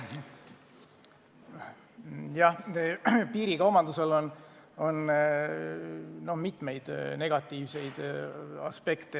Piirikaubandusel on mitu negatiivset aspekti.